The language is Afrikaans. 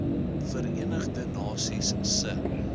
verenigde nasies se